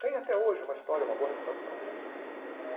Tem até hoje uma história, uma boa reputação.